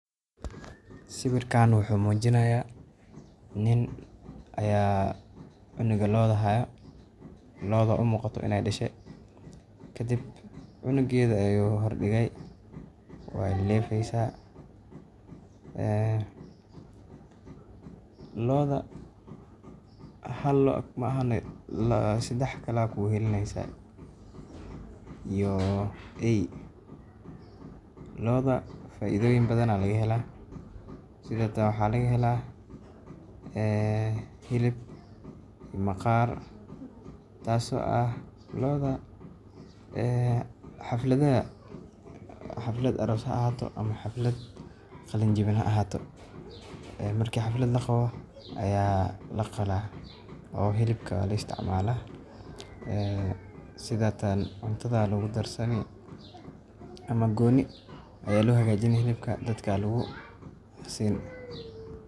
Sawirka wuxuu mujinaaya nin ayaa cunuga looda haaya oo umuqato inaay dashe cunugeeda ayuu hor dige waay kefeysa hal xaba maahane sedex kale aaayaa joogta iyo eey looda hilib ayaa laga helaa iyo maqaar marka xaflad laqabo ayaa laqalaa oo hilibka la isticmaala dadka lasiiya.